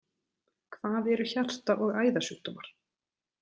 Hvað eru hjarta- og æðasjúkdómar?